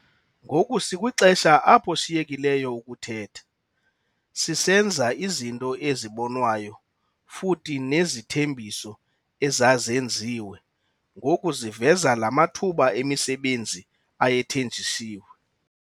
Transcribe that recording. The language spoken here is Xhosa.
Ngoku sikwixesha apho siyekileyo ukuthetha, sisenza izinto ezibonwayo futhi nezithembiso ezazenziwe ngoku ziveza la mathuba emisebenzi ayethenjisiwe.